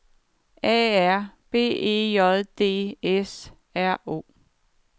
A R B E J D S R O